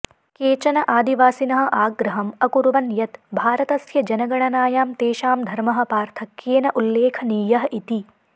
केचन आदिवासिनः आग्रहम् अकुर्वन् यत् भारतस्य जनगणनायां तेषां धर्मः पार्थक्येन उल्लेखनीयः इति